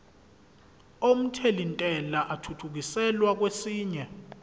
omthelintela athuthukiselwa kwesinye